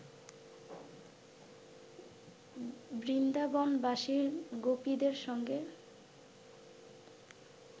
বৃন্দাবনবাসী গোপীদের সঙ্গে